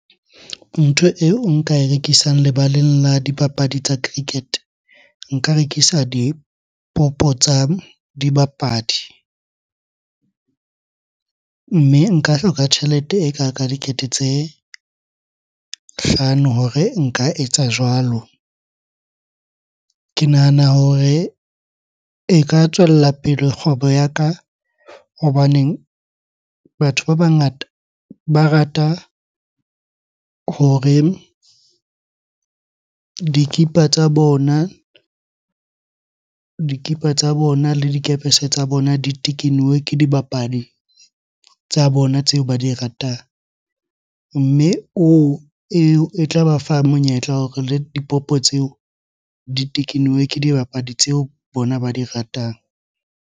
Ntho eo nka e rekisang lebaleng la dibapadi tsa cricket. Nka rekisa dipopo tsa dibapadi, mme nka hloka tjhelete e kaka dikete tse hlano hore nka etsa jwalo. Ke nahana hore e ka tswella pele kgwebo ya ka hobaneng batho ba bangata ba rata hore dikipa tsa bona le dikerese tsa bona di tekenuwe ke dibapadi tsa bona tseo ba di ratang. Mme oo, eo e tla ba fa monyetla wa hore le dipopo tseo di tekenuwe ke dibapadi tseo bona ba di ratang.